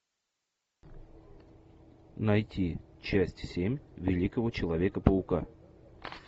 найти часть семь великого человека паука